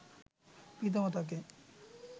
পিতা-মাতাকে